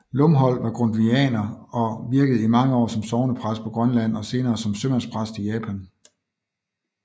Lumholt var grundtvigianer og virkede i mange år som sognepræst på Grønland og senere som sømandspræst i Japan